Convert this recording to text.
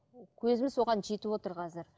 көзіміз соған жетіп отыр қазір